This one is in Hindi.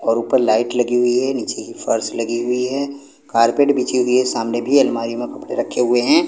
और उपर लाइट लगी हुईं हैं नीचे की फर्श लगी हुईं हैं कार्पेट बिछी हुईं हैं सामने भी अलमारी मे कपड़े रखे हुएं हैं।